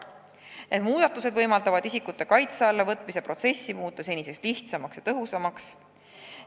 Need muudatused võimaldavad isikute kaitse alla võtmise protsessi muuta senisest lihtsamaks ja tõhusamaks.